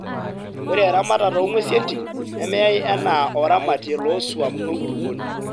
Ore eramatata oo ng`uesi entim nemeyai enaa oramatie loo swam o enkulukuoni.